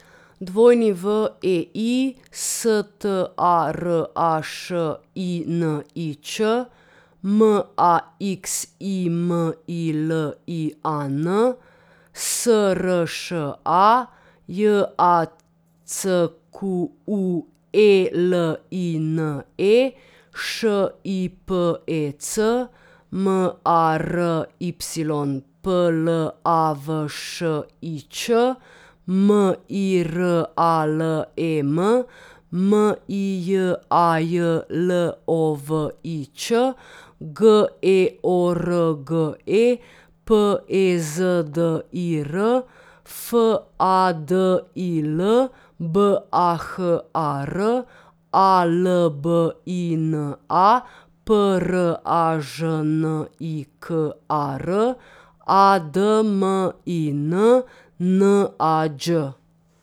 W E I, S T A R A Š I N I Č; M A X I M I L I A N, S R Š A; J A C Q U E L I N E, Š I P E C; M A R Y, P L A V Š I Č; M I R A L E M, M I J A J L O V I Ć; G E O R G E, P E Z D I R; F A D I L, B A H A R; A L B I N A, P R A Ž N I K A R; A D M I N, N A Đ.